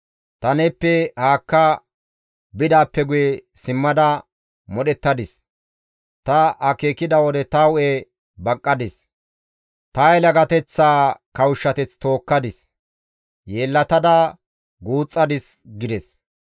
Ta neeppe haakka bidaappe guye simmada modhettadis; ta akeekida wode ta hu7e baqqadis; ta yelagateththaa kawushshateth tookkadis; yeellatada guuxxadis› gides.